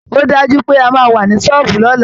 Ó dájú pé a máa wà ní ṣọ́ọ̀bù lọ́la